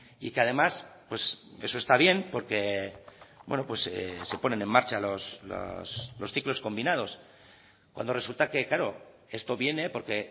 y que además eso está bien porque se ponen en marcha los ciclos combinados cuando resulta que claro esto viene porque